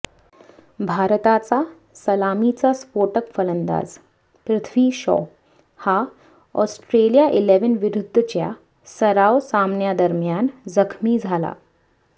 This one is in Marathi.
भारताचा सलामीचा स्फोटक फलंदाज पृथ्वी शॉ हा ऑस्ट्रेलिया इलेव्हन विरुद्धच्या सराव सामन्यादरम्यान जखमी झाला